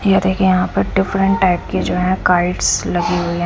ये देखिए यहाँ पर डिफरेंट टाइप के जो है काइट्स लगी हुई हैं।